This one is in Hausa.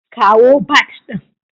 Kawo bat din